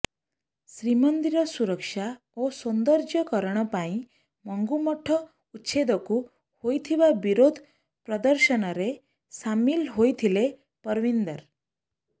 ଶ୍ରୀମନ୍ଦିର ସୁରକ୍ଷା ଓ ସୌନ୍ଦର୍ଯ୍ୟକରଣ ପାଇଁ ମଙ୍ଗୁ ମଠ ଉଚ୍ଛେଦକୁ ହୋଇଥିବା ବିରୋଧ ପ୍ରଦର୍ଶନରେ ସାମିଲ ହୋଇଥିଲେ ପରବିନ୍ଦର